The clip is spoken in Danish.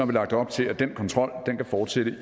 vi lagt op til at den kontrol kan fortsætte